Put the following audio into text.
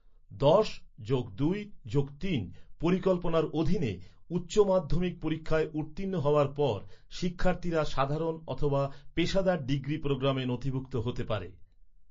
দশ যোগ দুই যোগ তিন পরিকল্পনার অধীনে, উচ্চ মাধ্যমিক পরীক্ষায় উত্তীর্ণ হওয়ার পর, শিক্ষার্থীরা সাধারণ অথবা পেশাদার ডিগ্রি প্রোগ্রামে নথিভুক্ত হতে পারে।